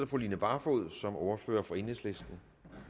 fru line barfod som ordfører for enhedslisten